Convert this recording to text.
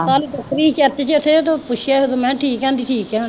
ਉੱਥੇ ਪੁੱਛਿਆ ਮੈਂ ਕਿਹਾ ਠੀਕ ਹੈ ਕਹਿੰਦੀ ਠੀਕ ਹੈ ਹੁਣ